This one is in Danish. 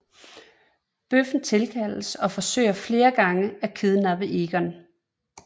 Bøffen tilkaldes og forsøger flere gange at kidnappe Egon